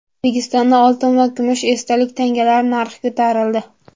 O‘zbekistonda oltin va kumush esdalik tangalar narxi ko‘tarildi.